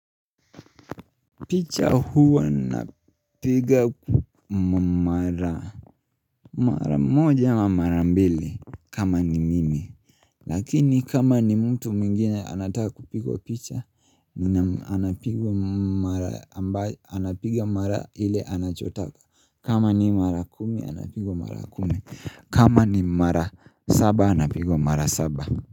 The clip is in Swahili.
Picha huwa napiga mara moja ama mara mbili kama ni mimi. Lakini kama ni mtu mwingine anataa kupigwa picha anapigwa mara ile anachotaka, kama ni mara kumi anapigwa mara kumi kama ni mara saba anapigwa mara saba.